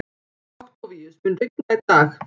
Októvíus, mun rigna í dag?